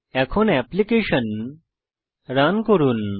এখন application run করুন